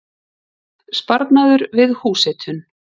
Sparnaður við húshitun